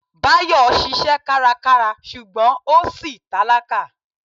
Báyọ̀ ṣiṣẹ́ kárakára ṣùgbọ́n ó ṣì tálákà.